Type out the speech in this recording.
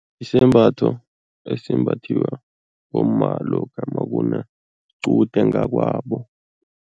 Isembatho esimbathiwa bomma lokha makunequde ngakwabo.